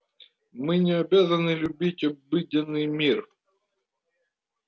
мы не обязаны любить обыденный мир